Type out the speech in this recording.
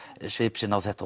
svip sinn á þetta